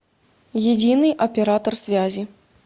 единый оператор связи